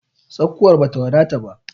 Tsakuwar bata wadata ba.